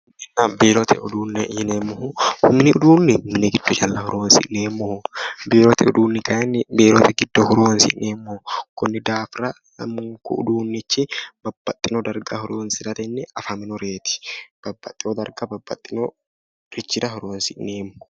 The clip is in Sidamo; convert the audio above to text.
Mininna biirote uduune yinneemmohu ,mini uduune mini giddo calla horonsi'neemmoho ,biirote uduuni kayinni biirote giddo horonsi'neemmoho konnira daafira lamunku uduunichi babbaxino darga horonsirateni afaminoreti. babbaxeyo darga babbaxino garini horonsi'neemmo.